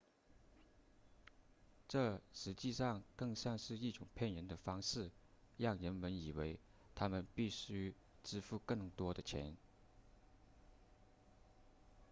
这实际上更像是一种骗人的方式让人们以为他们必须支付更多的钱